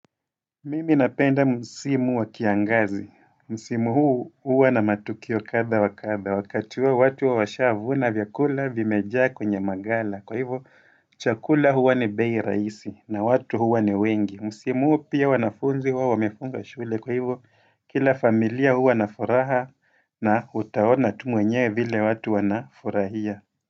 Mimi napenda msimu wa kiangazi, msimu huu uwa na matukio kadha wa kadha, wakati huo watu wa washavuna vyakula vimejaa kwenye magala, kwa hivyo chakula huwa ni bei raisi, na watu huwa ni wengi, msimu huu pia wanafunzi huwa wamefunga shule, kwa hivyo kila familia huu wanafuraha na utaona tu mwenyewe vile watu wanafurahia.